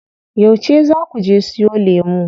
Yauce zaa kuje siyo lemu?